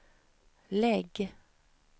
lägg